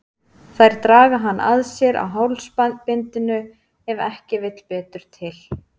Þær draga hann að sér á hálsbindinu ef ekki vill betur til.